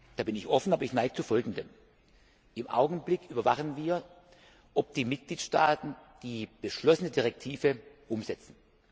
Da bin ich offen, aber ich neige zu Folgendem Im Augenblick überwachen wir, ob die Mitgliedstaaten die beschlossene Richtlinie umsetzen.